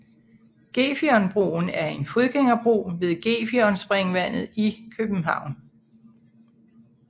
Gefionbroen er en fodgængerbro ved Gefionspringvandet i København